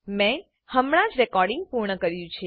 મેં હમણાં જ રેકોર્ડીંગ પૂર્ણ કર્યું છે